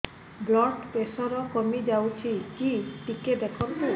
blood pressure କମି ଯାଉଛି କି ଟିକେ ଦେଖନ୍ତୁ